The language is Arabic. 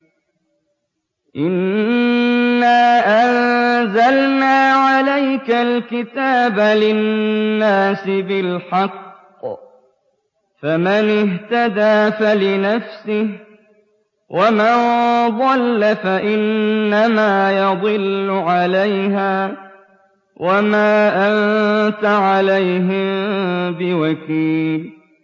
إِنَّا أَنزَلْنَا عَلَيْكَ الْكِتَابَ لِلنَّاسِ بِالْحَقِّ ۖ فَمَنِ اهْتَدَىٰ فَلِنَفْسِهِ ۖ وَمَن ضَلَّ فَإِنَّمَا يَضِلُّ عَلَيْهَا ۖ وَمَا أَنتَ عَلَيْهِم بِوَكِيلٍ